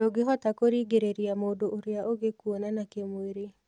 Ndũngĩhota kũrĩngĩrĩrĩa mũndũ ũrĩa ũngĩ kuonana kĩĩmwĩrĩ.